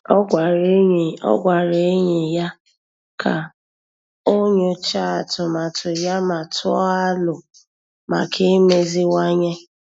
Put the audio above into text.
Ọ́ gwàrà ényì Ọ́ gwàrà ényì ya kà o nyòcháá atụmatụ ya ma tụ́ọ́ alo maka imeziwanye.